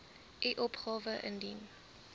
u opgawe indien